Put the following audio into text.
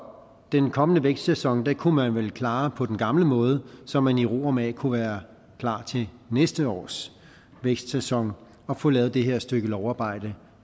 den kommende vækstsæson kunne man vel klare på den gamle måde så man i ro og mag kunne være klar til næste års vækstsæson og få lavet det her stykke lovarbejde